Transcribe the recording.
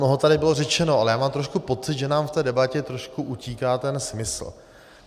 Mnoho tady bylo řečeno, ale já mám trošku pocit, že nám v té debatě trošku utíká ten smysl.